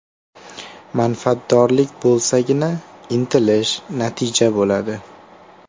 Manfaatdorlik bo‘lsagina, intilish, natija bo‘ladi.